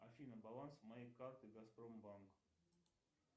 афина баланс моей карты газпромбанк